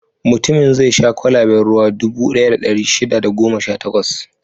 Mutumin zai sha kwalaben ruwa dubu ɗaya da ɗari shida da goma sha takwas.